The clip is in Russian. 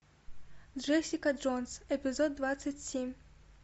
джессика джонс эпизод двадцать семь